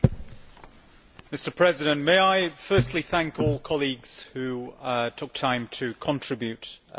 Mr President, may I firstly thank all colleagues who took time to contribute to the debate.